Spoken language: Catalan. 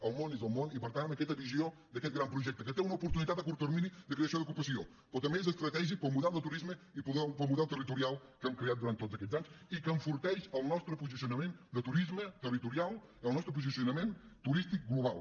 el món és el món i per tant aquesta visió d’aquest gran projecte que té una oportunitat a curt termini de creació d’ocupació però també és estratègic per al model de turisme i per al model territorial que hem creat durant tots aquests anys i que enforteix el nostre posicionament de turisme territorial i el nostre posicionament turístic global